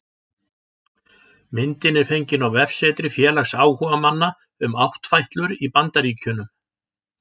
Myndin er fengin á vefsetri félags áhugamanna um áttfætlur í Bandaríkjunum